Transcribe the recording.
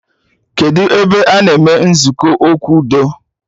Kedụ ebe a na-eme nzukọ okwu udo